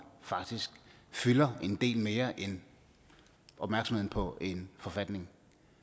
faktisk fylder en del mere end opmærksomheden på en forfatning